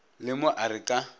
le mo a re ka